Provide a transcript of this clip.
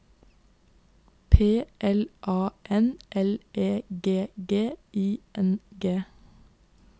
P L A N L E G G I N G